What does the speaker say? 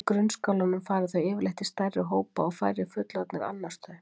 Í grunnskólanum fara þau yfirleitt í stærri hópa og færri fullorðnir annast þau.